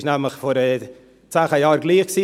Es war vor zehn Jahren nämlich gleich;